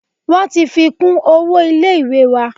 Wọ́n ti fi kún owó ilé ìwé wa.